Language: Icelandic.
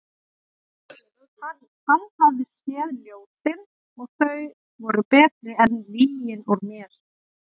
Hann hafði séð ljósin og þau voru betri en lygin úr mér.